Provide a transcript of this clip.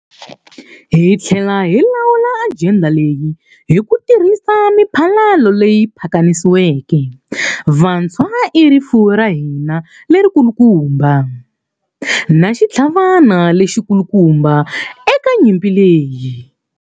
Hi tlhela hi lawula ajenda leyi hi ku tirhisa miphalalo leyi pakanisiweke. Vantshwa i rifuwo ra hina lerikulukumba, na xitlhavana lexikulukumba eka nyimpi leyi.